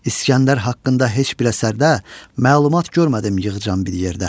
İskəndər haqqında heç bir əsərdə məlumat görmədim yığcam bir yerdə.